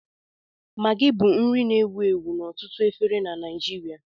Maggi bụ nri na-ewu ewu n'ọtụtụ efere na Nijiria